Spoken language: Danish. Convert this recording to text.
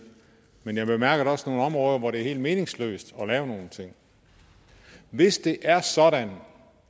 men jeg bemærkede også nogle områder hvor det er helt meningsløst at lave nogen ting hvis det er sådan